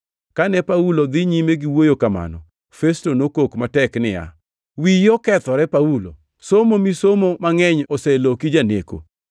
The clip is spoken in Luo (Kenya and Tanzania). Kane Paulo dhi nyime gi wuoyo kamano, Festo nokok matek niya, “Wiyi okethore, Paulo! Somo misomo mangʼeny oseloki janeko!”